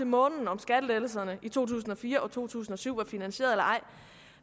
månen om skattelettelserne i to tusind og fire og to tusind og syv var finansieret eller ej